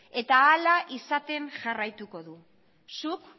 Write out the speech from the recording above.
eta hala izaten jarraituko du zuk